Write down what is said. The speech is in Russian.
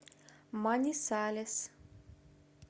манисалес